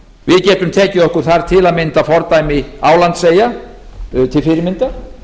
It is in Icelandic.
við getum tekið okkur þar til að mynda fordæmi álandseyja til fyrirmyndar